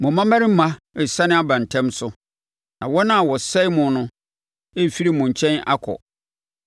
Mo mmammarima resane aba ntɛm so; na wɔn a wɔsɛe mo no refiri mo nkyɛn akɔ.